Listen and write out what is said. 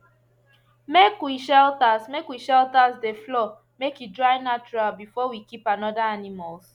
make we shelters make we shelters de floor make e dry natural before we keep another animals